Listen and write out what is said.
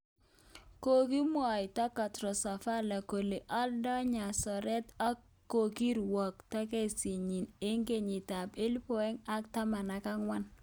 Kogimwaito Contostavlos kole aldoi nyasoret ak kogiwirto kesinyi eng kenyit ab elibu aeng ak taman ak angwan